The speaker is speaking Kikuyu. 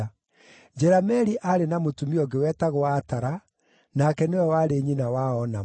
Jerameeli aarĩ na mũtumia ũngĩ wetagwo Atara, nake nĩwe warĩ nyina wa Onamu.